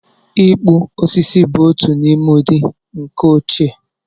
Ịkpụ osisi bụ otu n'ime ụdị ǹkà ochie